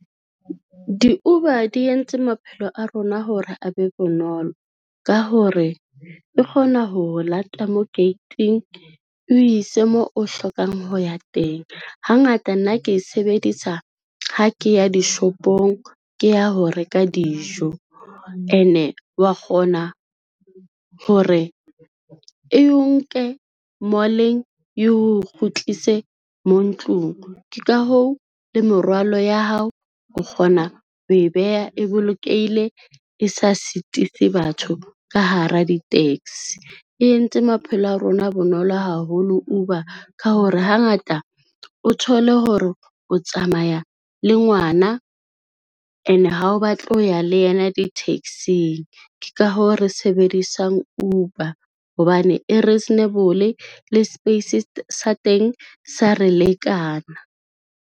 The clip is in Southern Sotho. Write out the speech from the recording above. Di-Uber di entse maphelo a rona hore a be bonolo ka hore e kgona ho o lata mo gate-ing, o ise moo o hlokang ho ya teng. Hangata nna ke e sebedisa ha ke ya dishopong, ke ya ho reka dijo, ene wa kgona hore e o nke mall-eng e o kgutlise mo ntlong. Ke ka hoo le merwalo ya hao o kgona ho e beha e bolokehile, e sa sitise batho ka hara di-taxi. E entse maphelo a rona a be bonolo haholo Uber ka hore hangata o thole hore o tsamaya le ngwana and ha o batle ho ya le yena di-taxi-ng. Ke ka hoo, re sebedisang Uber hobane e reasonable le space sa teng sa re lekana.